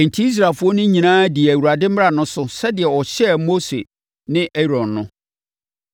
Enti, Israelfoɔ no nyinaa dii Awurade mmara no so sɛdeɛ ɔhyɛɛ Mose ne Aaron no.